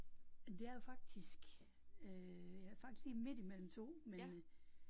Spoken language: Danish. Det er jo faktisk øh jeg er faktisk lige midt imellem 2 men